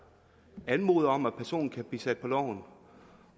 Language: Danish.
anmoder om at personen bliver sat på loven